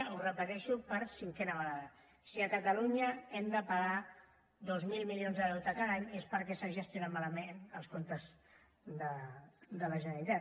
ho repeteixo per cinquena vegada si a catalunya hem de pagar dos mil milions de deute cada any és perquè s’ha gestionat els comptes de la generalitat